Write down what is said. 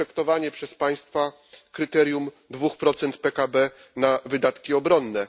respektowanie przez państwa kryterium 2 PKB na wydatki obronne.